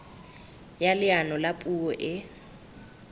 ya leano la puo e